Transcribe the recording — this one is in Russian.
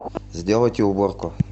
сделайте уборку